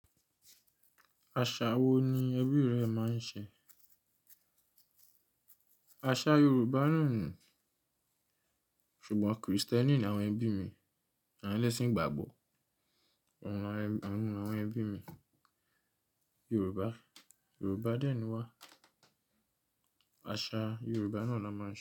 Aṣa wo ni ẹbí rẹ máa ń ṣe? Aṣa Yoruba náà ni, ṣùgbọ́n Kristẹni ni àwọn ẹbí mi. Àwọn ẹlẹ́sìn ìgbàgbọ́. Àwọn, àwọn ẹbí mi Yoruba. Yoruba dẹ̀ ni wá. Aṣa Yoruba náà la máa ń ṣe.